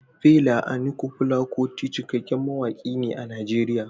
Fela Aníkúlápó Kuti cikakken mawaƙin ne a Najeriya.